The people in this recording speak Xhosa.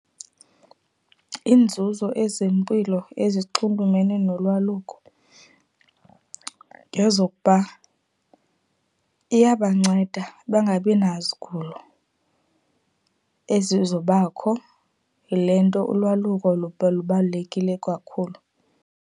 Iinzuzo ezempilo ezinxulumene nolwaluko, ngezokuba iyabanceda bangabina zigulo ezizobakho. Yile nto ulwaluko lubalulekile kakhulu.